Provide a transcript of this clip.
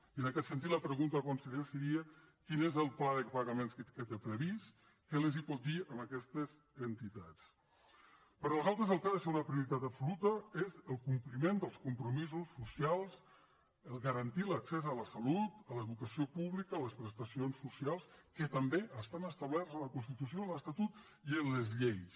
i en aquest sentit la pregunta conseller seria quin és el pla de pagaments que té previst què els pot dir a aquestes entitats per nosaltres el que ha de ser una prioritat absoluta és el compliment dels compromisos socials garantir l’accés a la salut a l’educació pública a les prestacions socials que també estan establertes en la constitució i l’estatut i en les lleis